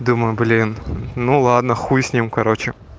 думаю блин ну ладно хуй с ним короче